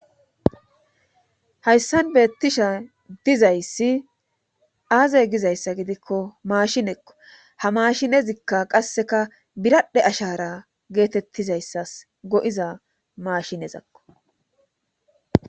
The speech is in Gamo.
hayssan beettisha dizayssi aaze gizayssa gidikko maashinekko ha maashinezikka qasseka biradhe ashara geetettizayssas go7iza maashinezakko